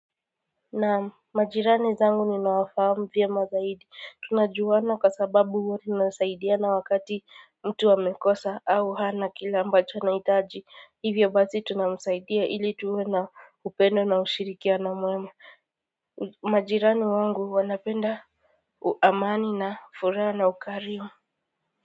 Naamu majirani zangu nina wafahat by rmu vya tunajuana kwasababu huwa tunasaidiana wakati mtu amekosa au hana kile ambacho anaitaji hivyo basi tunamusaidia ili tuwena upendo na ushirikia na mwema majirani wangu wanapenda uamani na fura na ukario